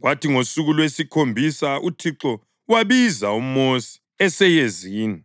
kwathi ngosuku lwesikhombisa uThixo wabiza uMosi eseyezini.